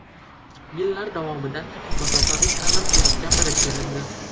Yillar davomida masofaviy ta’lim deb gapirib kelindi.